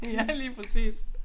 Ja lige præcis